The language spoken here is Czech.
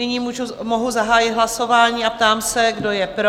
Nyní mohu zahájit hlasování a ptám se, kdo je pro?